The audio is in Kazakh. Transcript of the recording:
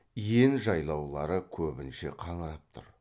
иен жайлаулары көбінше қаңырап тұр